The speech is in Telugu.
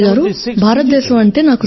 భారతదేశం అంటే నాకు సర్వస్వం